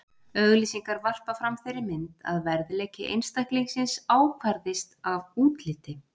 Auglýsingar varpa fram þeirri mynd að verðleiki einstaklingsins ákvarðist af útliti.